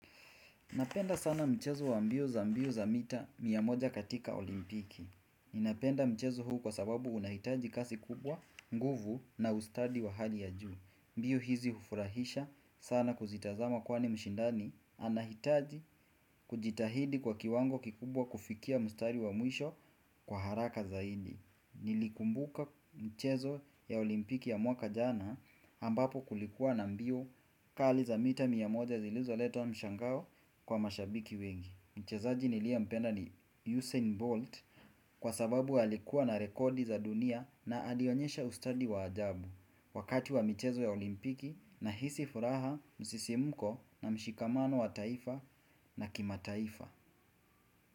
Napenda sana mchezo wa mbio za mbio za mita mia moja katika olimpiki. Ninapenda mchezo huu kwa sababu unahitaji kasi kubwa, nguvu na ustadi wa hali ya juu. Mbio hizi hufurahisha sana kuzitazama kwani mshindani. Anahitaji kujitahidi kwa kiwango kikubwa kufikia mstari wa mwisho kwa haraka zaidi. Nilikumbuka mchezo ya olimpiki ya mwaka jana ambapo kulikuwa na mbio kali za mita mia moja zilizoleta mshangao kwa mashabiki wengi. Mchezaji niliyempenda ni Usain Bolt Kwa sababu alikuwa na rekodi za dunia na alionyesha ustadi wa ajabu. Wakati wa mchezo ya olimpiki nahisi furaha, msisimuko na mshikamano wa taifa na kimataifa.